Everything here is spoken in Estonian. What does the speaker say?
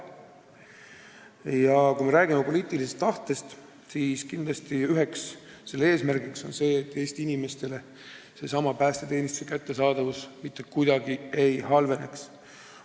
Ja kui me räägime poliitilisest tahtest, siis kindlasti on üks eesmärk see, et Eesti inimestele päästeteenistuse kättesaadavus mitte kuidagi ei halveneks.